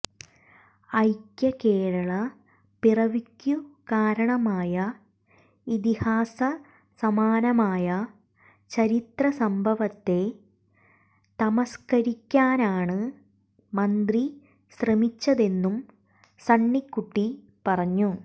ഐക്യകേരള പിറവിക്ക് കാരണമായ ഇതിഹാസസമാനമായ ചരിത്രസംഭവത്തെ തമസ്കരിക്കാനാണ് മന്ത്രി ശ്രമിച്ചതെന്നും സണ്ണിക്കുട്ടി പറഞ്ഞു